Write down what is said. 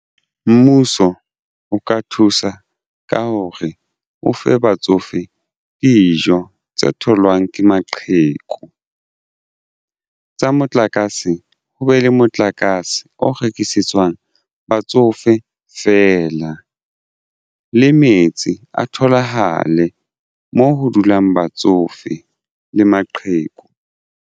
Mmuso o ka thusa ka hore o fe batsofe dijo tse tholwang ke maqheku tsa motlakase ho be le motlakase o rekisetswang batsofe feela le metsi a tholahale moo ho dulang batsofe le maqheku.